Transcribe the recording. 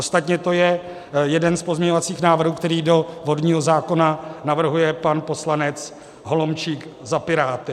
Ostatně to je jeden z pozměňovacích návrhů, který do vodního zákona navrhuje pan poslanec Holomčík za Piráty.